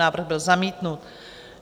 Návrh byl zamítnut.